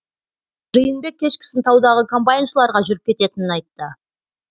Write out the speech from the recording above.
жиынбек кешкісін таудағы комбайншыларға жүріп кететінін айтты